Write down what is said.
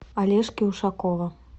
олежки ушакова